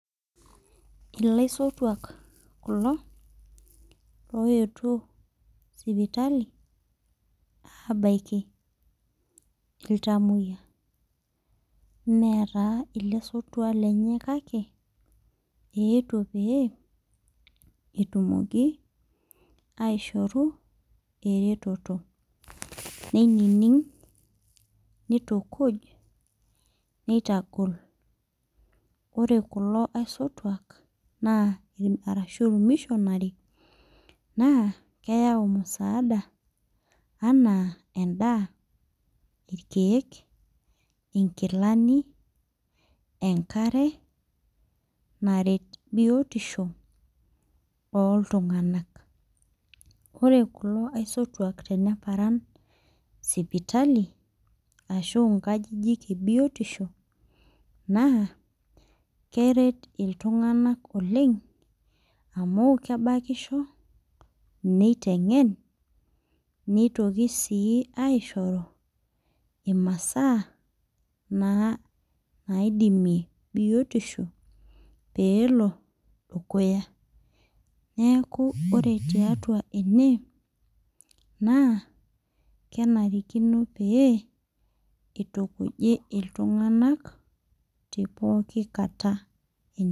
Ilaisotuak kulo loyetuo sipitali abaiki iltamoyia mee taa ilesotua lenye kake eetuo pee etumoki aishoru eretoto neining neitukuj neitagol ore kulo aisotuak naa arashu irmishonary naa keyau musaada anaa endaa irkeek inkilani enkare naret biotisho oltung'anak ore kulo aisotuak teneparan sipitali ashu inkajijik ebiotisho naa keret iltung'anak oleng amu kebakisho neiteng'en neitoki sii aishoru imasaa naa naidimie biotisho peelo dukuya neeku ore tiatua ene naa kenarikino pee itukuji iltung'anak te pooki kata eny.